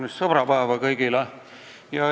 Kaunist sõbrapäeva kõigile!